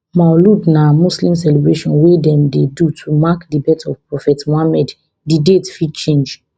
maulud na muslim celebration wey dem dey do to mark di birth of prophet muhammed di date fit change